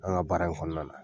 An ka baara in kɔnɔna na.